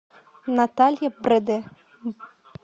наталья бреде